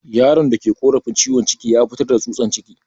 Yaron da ke korafin ciwon ciki ya fitar da tsutsan ciki.